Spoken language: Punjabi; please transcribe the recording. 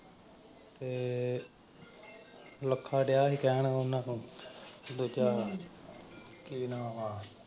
ਤੇ ਲੱਖਾ ਡਿਆ ਸੀ ਕਹਿਣ ਉਨ੍ਹਾਂ ਨੂੰ ਦੂਜਾ ਕੀ ਨਾਮ ਆ?